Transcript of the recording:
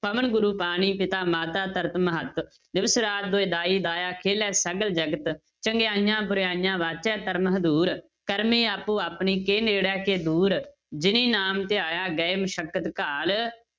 ਪਵਨ ਗੁਰੂ ਪਾਣੀ ਪਿਤਾ ਮਾਤਾ ਧਰਤ ਮਹਤ, ਦਿਵਸ ਰਾਤ ਦੁਇ ਦਾਈ ਦਾਇਆ ਖੇਲੇ ਸਗਲ ਜਗਤ, ਚੰਗਿਆਈਆ ਬੁਰਾਈਆਂ ਵਾਚੈ ਧਰਮ ਹਦੂਰ ਕਰਮੀ ਆਪੋ ਆਪਣੀ ਕੇ ਨੇੜੇ ਕੇ ਦੂਰ, ਜਿੰਨੀ ਨਾਮ ਧਿਆਇਆ ਗਏ ਮਸਕਤ ਘਾਲ